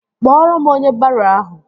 Kpọrọ m onye baro ahụ!